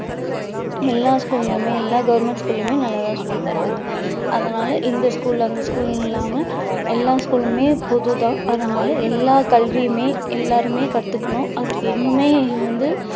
எல்லா school லயுமே எல்லா government school லயுமே நல்லா தான் சொல்லி தர்றாங்க அதனால இந்த school அந்த school ன்னு இல்லாம எல்லா school லுமே பொது தான் அதனால எல்லா கல்வியுமே எல்லாருமே கத்துக்கணும் அதுக்கு இன்னுமே வந்து